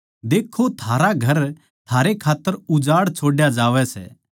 देक्खो थारा घर थारे खात्तर उजाड़ छोड्या जावै सै